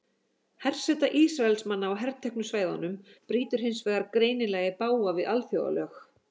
Herseta Ísraelsmanna á herteknu svæðunum brýtur hins vegar greinilega í bága við alþjóðalög.